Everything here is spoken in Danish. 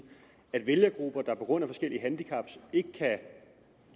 at vælgergrupper der på grund af forskellige handicap ikke kan